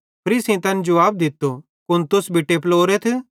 फरीसेईं तैन जुवाब दित्तो कुन तुस भी टेपलोरेथ